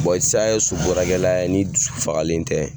sisan e ye so baarakɛla ye n'i dusu fagalen tɛ